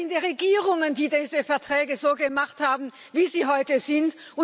Es sind die Regierungen, die diese Verträge so gemacht haben, wie sie heute sind.